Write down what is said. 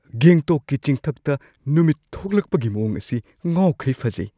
ꯒꯦꯡꯇꯣꯛꯀꯤ ꯆꯤꯡꯊꯛꯇ ꯅꯨꯃꯤꯠ ꯊꯣꯛꯂꯛꯄꯒꯤ ꯃꯋꯣꯡ ꯑꯁꯤ ꯉꯥꯎꯈꯩ ꯐꯖꯩ ꯫